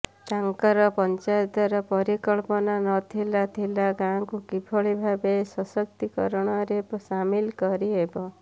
ତାଙ୍କର ପଞ୍ଚାୟତର ପରିକଳ୍ପନା ନଥିଲା ଥିଲା ଗାଁକୁ କିଭଳି ଭାବେ ସଶକ୍ତୀକରଣରେ ସାମିଲ କରିହେବ